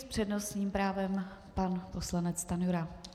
S přednostním právem pan poslanec Stanjura.